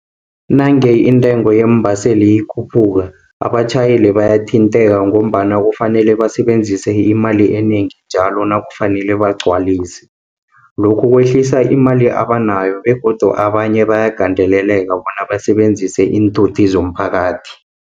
Nange intengo yeembaseli ikhuphuka, abatjhayeli bayathintheka, ngombana kufanele basebenzise imali enengi njalo nakufanele bagcwalise. Lokhu kwehlisa imali abanayo begodu abanye bayagandeleleka bona basebenzise iinthuthi zomphakathi.